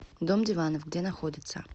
дом диванов где находится